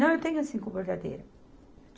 Não, eu tenho cinco bordadeiras.